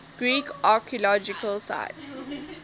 greek archaeological sites